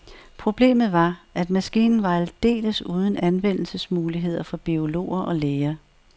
Problemet var, at maskinen var aldeles uden anvendelsesmuligheder for biologer og læger.